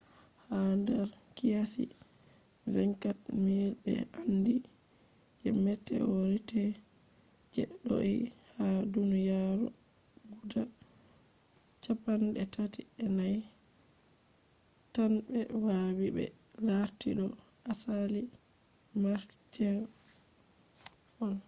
ha nder qiyasi 24,000 be andi je meteorites je do’ie ha duniyaru guda chappan’e tati ‘e nay 34 tan be wawi be larti do asali martian on